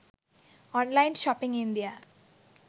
online shopping india